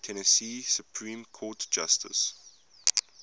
tennessee supreme court justices